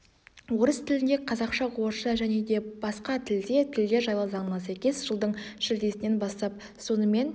орыс тілінде қазақша орысша және де басқа тілде тілдер жайлы заңына сәйкес жылдың шілдесінен бастап сонымен